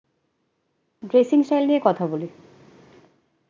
Dressing style নিয়ে কথা বলুন?